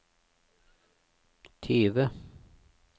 tyve